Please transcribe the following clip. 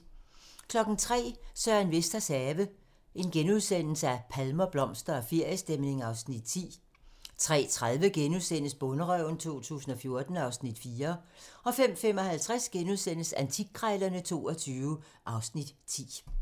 03:00: Søren Vesters have - palmer, blomster og feriestemning (Afs. 10)* 03:30: Bonderøven 2014 (Afs. 4)* 05:55: Antikkrejlerne XXII (Afs. 10)*